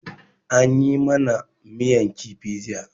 An yi ma na miyan kifi jiya.